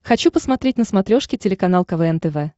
хочу посмотреть на смотрешке телеканал квн тв